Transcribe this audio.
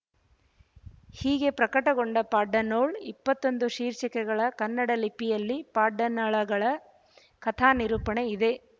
ಹೀಗೆ ಪ್ರಕಟಗೊಂಡ ಪಾಡ್ದನೊಳು ಇಪ್ಪತ್ತೊಂದು ಶೀರ್ಷಿಕೆಗಳ ಕನ್ನಡ ಲಿಪಿಯಲ್ಲಿ ಪಾಡ್ದನಗಳ ಕಥಾನಿರೂಪಣೆ ಇದೆ